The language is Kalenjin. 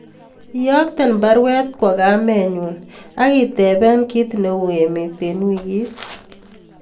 Iyokten baruet kwo kamenyun agi tepee ki ne u emet en wiikit